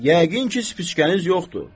Yəqin ki, spıçkəniz yoxdur.